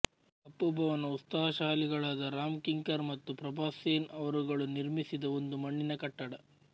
ಕಪ್ಪು ಭವನ ಉತ್ಸಾಹಶಾಲಿಗಳಾದ ರಾಮ್ ಕಿಂಕರ್ ಮತ್ತು ಪ್ರಭಾಸ್ ಸೇನ್ ಅವರುಗಳು ನಿರ್ಮಿಸಿದ ಒಂದು ಮಣ್ಣಿನ ಕಟ್ಟಡ